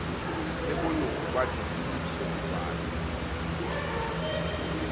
le boloko ba ditsebiso dipale